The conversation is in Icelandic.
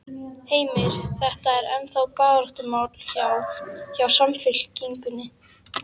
Heimir: Þetta er ennþá baráttumál hjá, hjá Samfylkingunni?